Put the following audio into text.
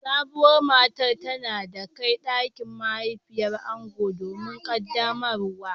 Sabuwar matar tana kai dakin mahaifiyar ango domin qaddamarwa